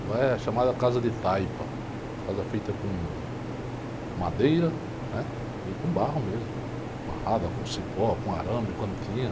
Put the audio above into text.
Ela é chamada Casa de Taipa, casa feita com madeira, né, e com barro mesmo, amarrada com cipó, com arame, quando tinha.